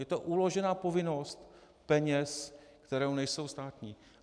Je to uložená povinnost peněz, které nejsou státní.